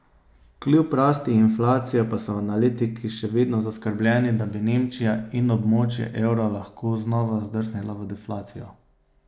Kljub rasti inflacije pa so analitiki še vedno zaskrbljeni, da bi Nemčija in območje evra lahko znova zdrsnila v deflacijo.